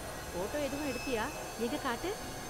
Photo எதுவும் எடுத்தியா? எங்க காட்டு.